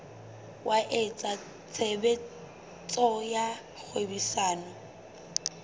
wa etsa tshebetso tsa kgwebisano